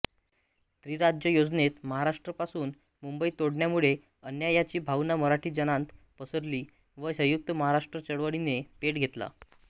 त्रिराज्य योजनेत महाराष्ट्रापासून मुंबई तोडण्यामुळे अन्यायाची भावना मराठीजनांत पसरली व संयुक्त महाराष्ट्र चळवळीने पेट घेतला